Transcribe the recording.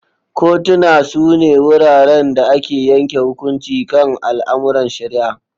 Kotuna su ne wuraren da ake yanke hukunci kan al'amuran shari'a.